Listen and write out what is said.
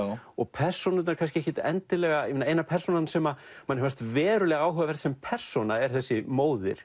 og persónurnar ekkert endilega eina persónan sem manni fannst verulega áhugaverð sem persóna er þessi móðir